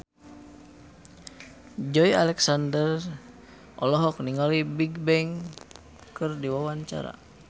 Joey Alexander olohok ningali Bigbang keur diwawancara